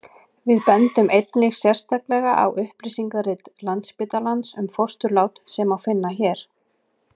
við bendum einnig sérstaklega á upplýsingarit landsspítalans um fósturlát sem má finna hér